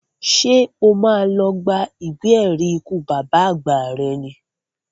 Ṣé o má lọ gba ìwé ẹ̀rí ikú bàbá àgbà rẹ ni?